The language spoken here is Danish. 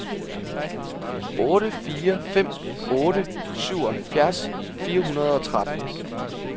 otte fire fem otte syvoghalvfjerds fire hundrede og tretten